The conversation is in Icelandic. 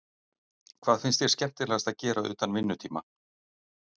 Hvað finnst þér skemmtilegast að gera utan vinnutíma?